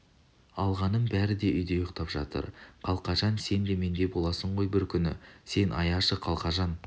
алғаным бәрі де үйде ұйықтап жатыр қалқажан сен де мендей боласың ғой бір күні сен аяшы қалқажан